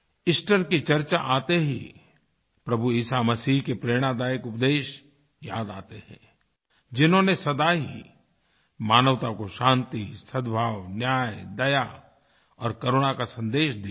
Easter की चर्चा आते ही प्रभु ईसा मसीह के प्रेरणादायक उपदेश याद आते हैं जिन्होंने सदा ही मानवता को शांति सद्भाव न्याय दया और करुणा का सन्देश दिया है